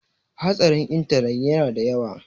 hatsarin intanet yana da yawa